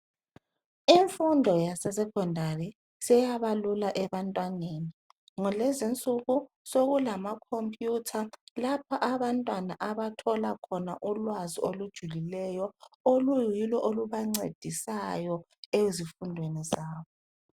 Imfundo yasesecondary seyaba lula ebantwaneni. Ngalezi insuku sokulamakhomputha lapha abantwana abathola khona ulwazi olujulileyo oluyilo olubancedisayo ezifundweni zabo.